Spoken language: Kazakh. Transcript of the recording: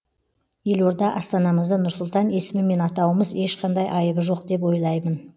елорда астанамызды нұр сұлтан есімімен атауымыз ешқандай айыбы жоқ деп ойлаймын